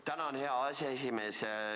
Tänan, hea aseesimees!